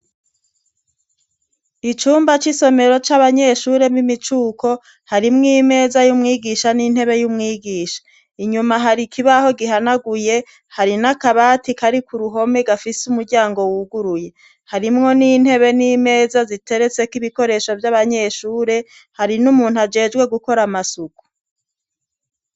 Icumba c'isomero c'abanyeshure m'imicuko harimwo imeza y'umwigisha n'intebe y'umwigisha inyuma hari ikibaho gihanaguye hari n'akabati kari ku ruhome gafise umuryango wuguruye harimwo n'intebe n'imeza ziteretseko ibikoresho vy'abanyeshure hari n'umuntu ajejwe gukora amasuku.